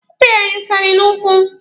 Ọ pịara ya ụtalị n'ụkwụ.